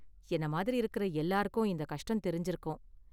என்ன மாதிரி இருக்குற எல்லாருக்கும் இந்த கஷ்டம் தெரிஞ்சுருக்கும்.